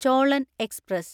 Cholan express